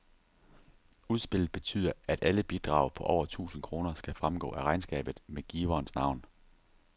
Udspillet betyder, at alle bidrag på over tusind kroner skal fremgå af regnskabet med giverens navn.